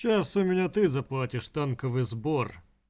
сейчас у меня ты заплатишь танковый сбор